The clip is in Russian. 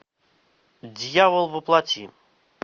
дьявол во плоти